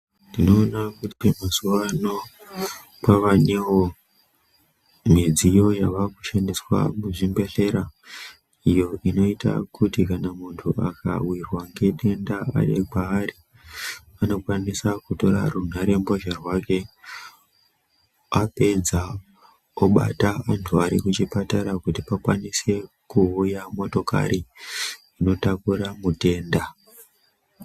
Ndinoona kuti mazuva ano kwavanevo midziyo yavakushandiswa muzvibhedhlera. Iyo inoita kuti kana muntu akavirwa ngedenda ari kwaari anokwanisa kutora runhare mbozha rwake. Apedza obata muntu ari kuchipatara kuti pakwanise kuuya motokari inotakura mutenda.